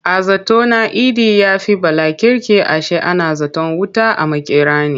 A zato na Idi ya fi Bala kirki ashe ana zaton wuta a makera ne.